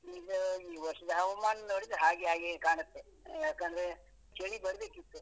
ಈಗ ಈ ವರ್ಷದ ಹವಾಮಾನ ನೋಡಿದ್ರೆ ಹಾಗೆ ಹಾಗೆಯೇ ಕಾಣುತ್ತೆ ಯಾಕಂದ್ರೆ ಚಳಿ ಬರ್ಬೇಕಿತ್ತು.